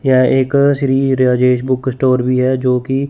यह एक Shri Rajesh book store भी है जो की--